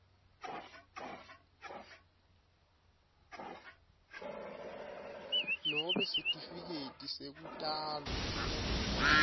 nobe sitifiketi sekutalwa